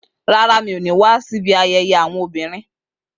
Rárá, mi ò ní wá síbi ayẹyẹ àwọn obìnrin